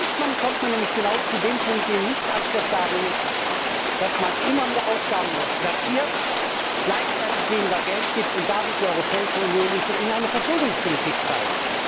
Ansonsten kommt man nämlich genau zu dem Punkt, der nicht akzeptabel ist, nämlich dass man immer mehr Aufgaben platziert, gleichzeitig weniger Geld gibt und damit die Europäische Union in eine Verschuldungspolitik treibt.